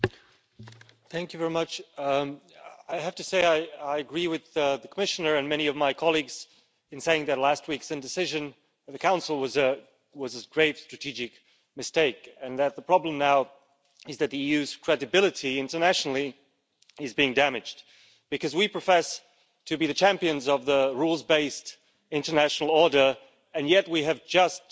Mr President, I have to say I agree with the Commissioner and many of my colleagues in saying that last week's indecision in the Council was a grave strategic mistake and that the problem now is that the EU's credibility internationally is being damaged. Because we profess to be the champions of the rules based international order, and yet we have just